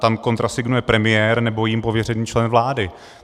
Tam kontrasignuje premiér nebo jím pověřený člen vlády.